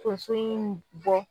Tonso in bɔ.